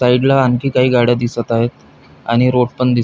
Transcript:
side ला आणखी काही गाड्या दिसत आहेत आणि रोड पण दि--